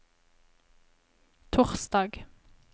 torsdag